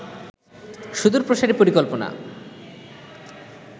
সুদূর প্রসারী পরিকল্পনা